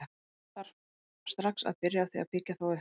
Það þarf strax að byrja á því að byggja þá upp.